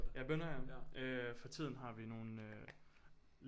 Ja bønner ja for tiden har vi nogen øh